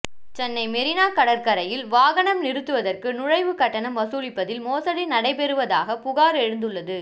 சென்னை மெரினா கடற்கரையில் வாகனம் நிறுத்துவதற்கு நுழைவு கட்டணம் வசூலிப்பதில் மோசடி நடைபெறுவதாக புகார் எழுந்துள்ளது